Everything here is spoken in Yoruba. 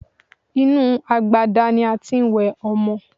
Inú agbada ni a tí ń wẹ ọmọ.